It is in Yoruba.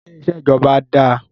Ṣé iṣẹ́ ìjọba dáá?